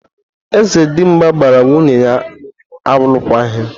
Eze Dimgba gbara nwunye ya alụkwaghịm.